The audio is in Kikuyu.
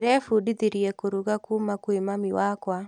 Ndĩrebundithirie kũruga kuuma kwĩ mami wakwa.